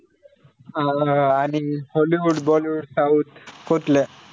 अं आणि hollywoodbollywoodsouth कुठलं?